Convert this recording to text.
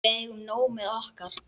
Við eigum nóg með okkar.